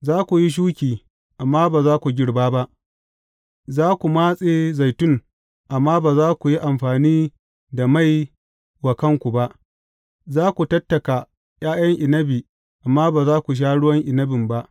Za ku yi shuki amma ba za ku girba ba; za ku matse zaitun amma ba za ku yi amfani da mai wa kanku ba, za ku tattaka ’ya’yan inabi amma ba za ku sha ruwan inabin ba.